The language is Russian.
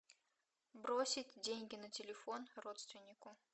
бросить деньги на телефон родственнику